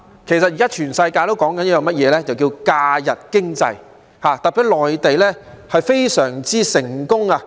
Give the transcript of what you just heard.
現在全世界也在談論假日經濟，特別是內地，非常成功。